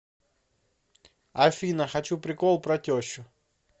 афина хочу прикол про тещу